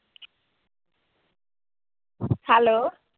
hello